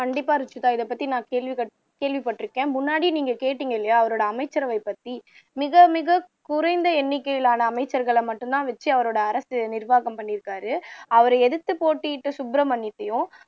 கண்டிப்பா ருஷிதா இதைப்பத்தி நான் கேள்விப் கேள்விப்பட்டிருக்கேன் முன்னாடி நீங்க கேட்டீங்க இல்லையா அவரோட அமைச்சரவை பத்தி மிக மிக குறைந்த எண்ணிக்கையிலான அமைச்சர்களை மட்டுந்தான் வச்சு அவரோட அரசு நிர்வாகம் பண்ணி இருக்கிறாரு அவரை எதிர்த்து போட்டியிட்ட சுப்ரமணியத்தையும்